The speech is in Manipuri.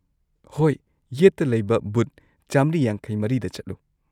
-ꯍꯣꯏ, ꯌꯦꯠꯇ ꯂꯩꯕ ꯕꯨꯊ ꯴꯵꯴ꯗ ꯆꯠꯂꯨ꯫